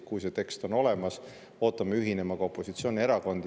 Kui see tekst on olemas, ootame ühinema ka opositsioonierakondi.